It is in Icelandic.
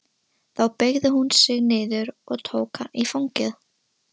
Þá beygði hún sig niður og tók hann í fangið.